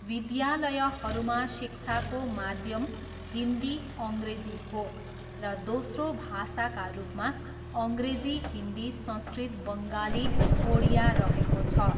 विद्यालयहरूमा शिक्षाको माध्यम हिन्दी, अङ्ग्रेजी हो र दोस्रो भाषाका रूपमा अङ्ग्रेजी, हिन्दी, संस्कृत, बङ्गाली, ओडिया रहेको छ।